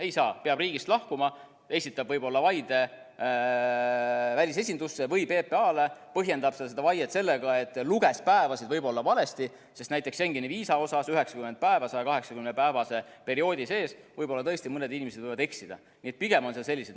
Ei saa, peab riigist lahkuma, esitab võib-olla vaide välisesindusse või PPA-le, põhjendab seda vaiet sellega, et luges päevasid võib-olla valesti, sest näiteks Schengeni viisa puhul 90 päeva 180-päevase perioodi sees – võib-olla tõesti mõned inimesed võivad eksida.